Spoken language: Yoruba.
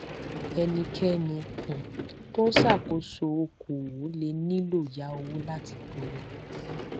ẹnikéni um tó ń ṣàkóso okòòwò lè nílò yá owó láti gbòòrò